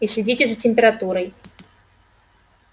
и следите за температурой